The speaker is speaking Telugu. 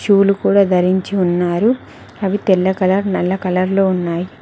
షూ లు కూడా ధరించి ఉన్నారు అవి తెల్ల కలర్ నల్ల కలర్ లో ఉన్నాయి.